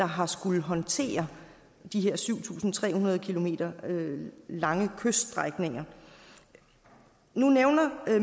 har skullet håndtere den her syv tusind tre hundrede km lange kyststrækning nu nævner